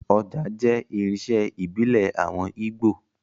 Ọjà jẹ́ irinṣẹ́ ìbílẹ̀ àwọn Ígbò